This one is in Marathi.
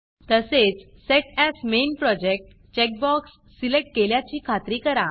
तसेच सेट एएस मेन Projectसेट as main project checkbox select केल्याची खात्री करा